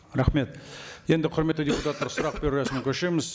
рахмет енді құрметті депутаттар сұрақ беру рәсіміне көшеміз